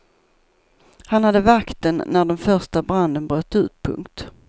Han hade vakten när den första branden bröt ut. punkt